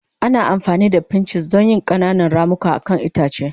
Ana amfani da pinches don yin ƙananan ramuka akan itace.